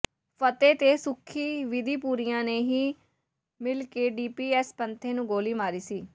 ਫਤਿਹ ਤੇ ਸੁੱਖੀ ਬਿਧੀਪੁਰੀਆ ਨੇ ਹੀ ਮਿਲ ਕੇ ਡੀਐਸਪੀ ਪੈਂਥੇ ਨੂੰ ਗੋਲੀ ਮਾਰੀ ਸੀ